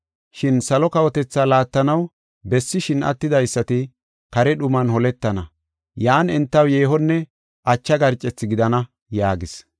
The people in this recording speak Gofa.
Shin salo kawotethaa laattanaw bessishin attidaysati kare dhuman holetana. Yan entaw yeehonne acha garcethi gidana” yaagis.